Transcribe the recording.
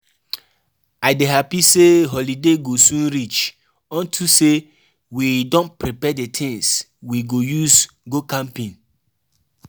I dey happy say holiday go soon reach unto say we don prepare the things we go use go camping